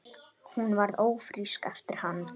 Hún varð ófrísk eftir hann.